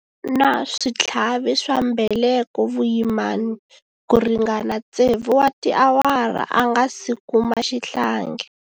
A ri na switlhavi swa mbeleko vuyimani ku ringana tsevu wa tiawara a nga si kuma xihlangi.